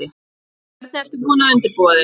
Linda: Hvernig ert þú búin að undirbúa þig?